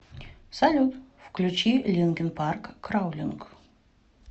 салют включи линкин парк краулинг